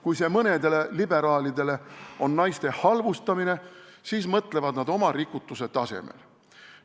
Kui see mõnele liberaalile tähendab naiste halvustamist, siis mõtlevad nad oma rikutuse tasemel.